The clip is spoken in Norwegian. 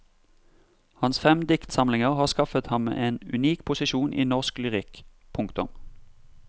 Hans fem diktsamlinger har skaffet ham en unik posisjon i norsk lyrikk. punktum